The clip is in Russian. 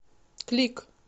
клик